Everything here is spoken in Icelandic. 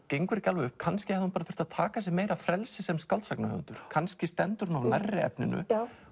gengur ekki alveg upp kannski hefði hún þurft að taka sér meira frelsi sem skáldsagnahöfundur kannski stendur hún of nærri efninu